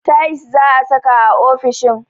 Tayis za'a saka a ofishin